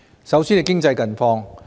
首先是經濟近況。